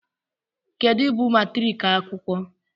kedu bụ matriki akwụkwọ